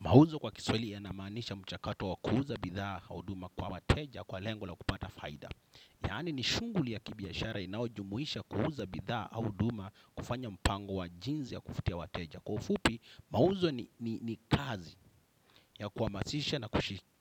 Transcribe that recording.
Mauzo kwa kiswaili yanamaanisha mchakato wa kuuza bidhaa au huduma kwa wateja kwa lengo la kupata faida. Yaani ni shunguli ya kibiashara inayojumuisha kuuza bidhaa au huduma kufanya mpango wa jinzi ya kufutia wateja. Kwa ufupi, mauzo ni kazi ya kuhamasisha na